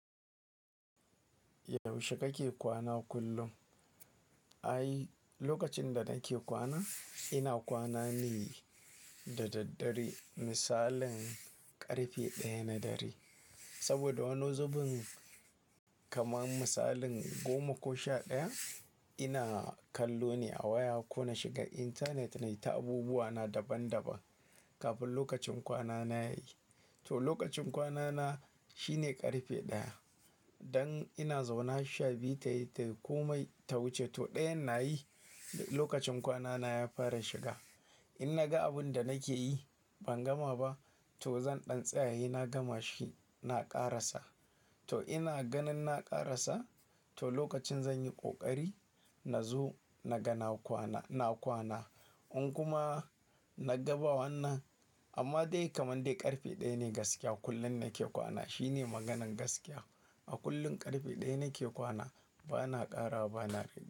Yaushe kake kwana kullum? Ai, lokacin da nake kwana, ina kwana ne da daddare misalin ƙarfe ɗaya na dare. Saboda wani zubin kamar misalin goma ko sha ɗaya ina kallo ne a waya ko na shiga internet na yi ta abubuwa na daban daban kafin lokacin kwana na yayi. To lokacin kwana na shine ƙarfe ɗaya. Dan ina zaune har sha biyu tayi tai komai ta wuce, to ɗayan nayi lokacin kwana na ya fara shiga. In naga abun da nake yi ban gama ba, to zan ɗan tsaya he na gama shi na ƙarasa. To ina ganin na ƙarasa, to lokacin zan yi ƙoƙari na zo na ga na kwana, na kwana. In kuma na gaba wannan, amma dai kamar dai ƙarfe ɗaya ne gaskiya kullum nake kwana. Shine maganan gaskiya. A kullum ƙarfe ɗaya nake kwana bana ƙarawa bana rage.